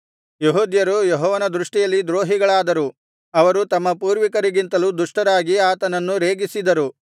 ಯೆಹೂದ್ಯರು ಯೆಹೋವನ ದೃಷ್ಟಿಯಲ್ಲಿ ದ್ರೋಹಿಗಳಾದರು ಅವರು ತಮ್ಮ ಪೂರ್ವಿಕರಿಗಿಂತಲೂ ದುಷ್ಟರಾಗಿ ಆತನನ್ನು ರೇಗಿಸಿದರು